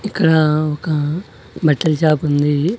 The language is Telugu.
ఇక్కడ ఒక బట్టల షాపుంది .